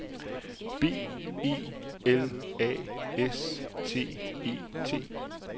B E L A S T E T